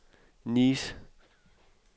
Nice